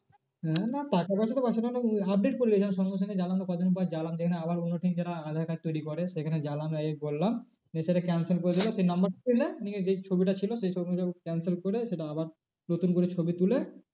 আহ না টাকা পয়সা update করিয়ে নিয়েছিলাম সঙ্গে সঙ্গে কদিন পর আবার অন্য team যারা aadhaar card তৈরী করে সেখানে এ করলাম। দিয়ে সেটা cancel করে দিলো নিয়ে যেই ছবিটা ছিল সেই ছবিটা cancel করে সেটা আবার নতুন করে ছবি তুলে